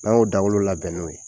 N'a y'o dawolo labɛn n'o ye